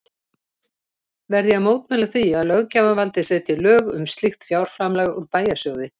Verð ég að mótmæla því, að löggjafarvaldið setji lög um slíkt fjárframlag úr bæjarsjóði